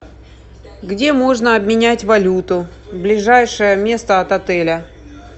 где можно обменять валюту ближайшее место от отеля